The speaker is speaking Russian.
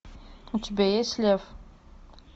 у тебя есть лев